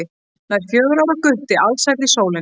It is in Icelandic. Nær fjögurra ára gutti alsæll í sólinni.